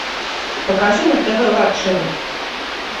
покажи на тв лакшери